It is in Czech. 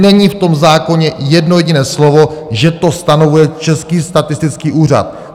Není v tom zákoně jedno jediné slovo, že to stanovuje Český statistický úřad.